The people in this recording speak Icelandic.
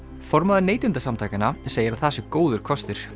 formaður Neytendasamtakanna segir að það sé góður kostur